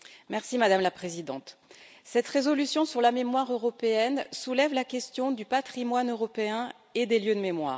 Madame la Présidente, cette résolution sur la mémoire européenne soulève la question du Patrimoine européen et des lieux de mémoire.